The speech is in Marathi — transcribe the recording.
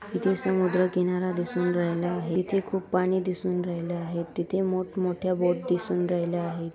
इथे समुद्र किनारा दिसून राहिले आहे तिथे खूप पाणी दिसून राहिले आहेत. तिथे मोठ् मोठ्या बोट दिसून राहिल्या आहेत.